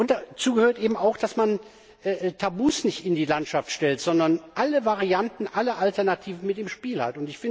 Dazu gehört eben auch, dass man Tabus nicht in die Landschaft stellt, sondern alle Varianten, alle Alternativen mit im Spiel hat.